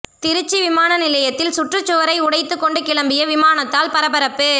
திருச்சி விமான நிலையத்தில் சுற்றுச்சுவரை உடைத்து கொண்டு கிளம்பிய விமானத்தால் பரபரப்பு